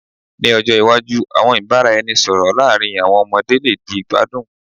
Ni ojo iwaju, awọn ibaraẹnisọrọ laarin awọn ọmọde le di igbadun